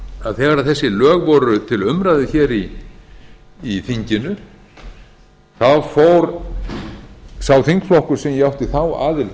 að þegar þessi lög voru til umræðu hér í þinginu fór sá þingflokkur sem ég átti þá aðild að hér